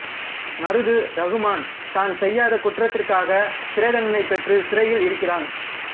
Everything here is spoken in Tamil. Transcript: மருது ரகுமான் தான் செய்யாத குற்றத்திற்காக சிறை தண்டனை பெற்று சிறையில் இருக்கிறான்